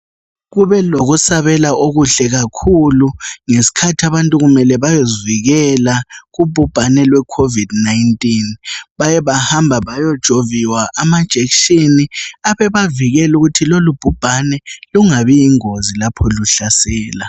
Kubelokusabela okuhle kakhulu ngesikhathi abantu kumele bayezivikela kubhubhane lweCovid 19. Baye bahamba bayojoviwa amajekishini abebavikela ukuthi lolubhubhane lungabi yingozi lapho luhlasela.